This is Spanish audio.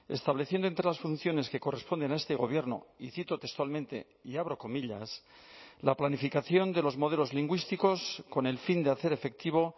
estableciendo entre las funciones que corresponden a este gobierno y cito textualmente y abro comillas la planificación de los modelos lingüísticos con el fin de hacer efectivo